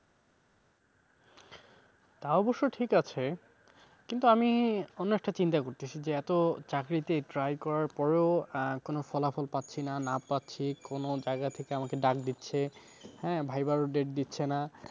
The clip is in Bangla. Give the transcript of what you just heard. তা অবশ্য ঠিক আছে কিন্তু আমি অন্য একটা চিন্তা করতেসি যে এত চাকরিতে try করার পরও কোন ফলাফল পাচ্ছি না। না পাচ্ছি কোন জায়গা থেকে আমাকে ডাক দিচ্ছে, হ্যাঁ viva র date দিচ্ছে না।